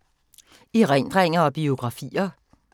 Erindringer og biografier